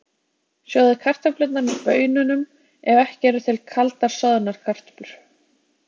Sjóðið kartöflurnar með baununum ef ekki eru til kaldar soðnar kartöflur.